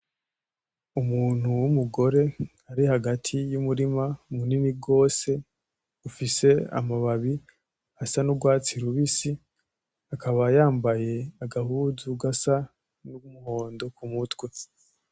Umuntu w'umugore ari hagati y'umurima munini gose ufise amababi asa n'ugwatsi rubisi, akaba yambaye agahuzu gasa n'umuhondo mu mutwe.